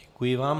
Děkuji vám.